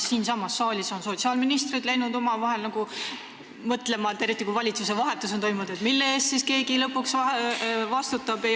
Siinsamas saalis on meil sotsiaalministrid hakanud omavahel nagu mõtlema, eriti kui on toimunud valitsuse vahetus – ei ole aru saada, mille eest siis keegi lõpuks vastutab.